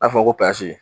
A fɔ ko